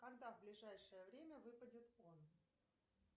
когда в ближайшее время выпадет он